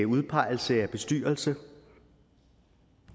udpegelse af bestyrelse